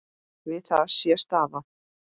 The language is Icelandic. Við það sé staðið.